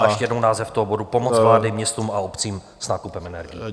A ještě jednou název toho bodu: Pomoc vlády městům a obcím s nákupem energií.